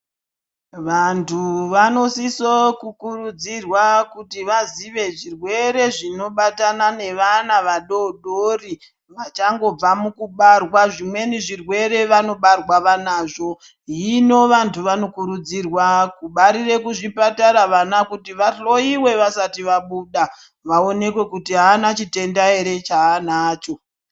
Vantu vanosiso kukurudzirwa kuti vazive zvirwere zvinobatana nevana vadoodori vachangobva mukubarwa zvimweni zvirwere vanobarwa vanazvo. Hino vantu vanokurudzirwa kubarire kuchipatara vana kuti vahloyiwe vasati vabuda vaonekwe kuti avana chitenda ere chava anacho.